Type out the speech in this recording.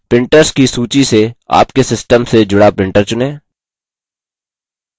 printers की सूची से आपके system से जुड़ा printers चुनें